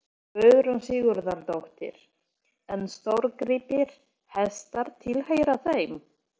Guðrún Sigurðardóttir: En stórgripir, hestar tilheyra þeim?